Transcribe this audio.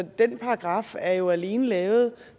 den paragraf er jo alene lavet